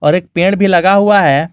और एक पेड़ भी लगा हुआ है।